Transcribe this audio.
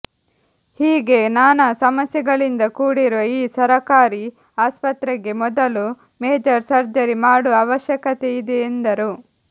ಹೀಗೇ ನಾನಾ ಸಮಸ್ಯೆಗಳಿಂದ ಕೂಡಿರುವ ಈ ಸರಕಾರಿ ಆಸ್ಪತ್ರೆಗೆ ಮೊದಲು ಮೇಜರ್ ಸರ್ಜರಿ ಮಾಡುವ ಅವಶ್ಯಕತೆವಿದೆ ಎಂದರು